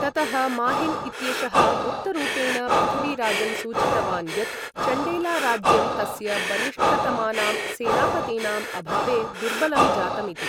ततः माहिल् इत्येषः गुप्तरूपेण पृथ्वीराजं सूचितवान् यत् चण्डेलाराज्यं तस्य बलिष्ठतमानां सेनापतीनाम् अभावे दुर्बलं जातम् इति।